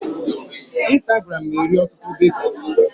Instagram na-eri ọtụtụ data.